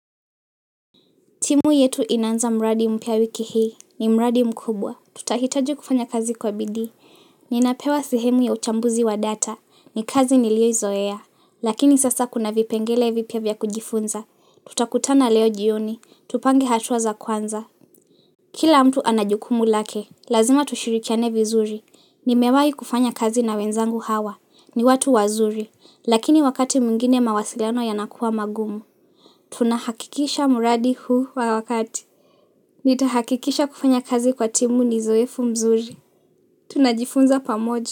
Timu yetu inaanza mradi mpia wiki hii. Ni mradi mkubwa. Tutahitaji kufanya kazi kwa bidi Ninapewa sehemu ya uchambuzi wa data. Ni kazi nilio izoea. Lakini sasa kuna vipengele vipia vya kujifunza. Tutakutana leo jioni. Tupange hatuwa za kwanza. Kila mtu anajukumu lake. Lazima tushirikiane vizuri. Ni mewai kufanya kazi na wenzangu hawa. Ni watu wazuri. Lakini wakati mwingine mawasiliano yanakua magumu. Tunahakikisha mradi huu wakati. Nitahakikisha kufanya kazi kwa timu ni zoefu mzuri Tunajifunza pamoja.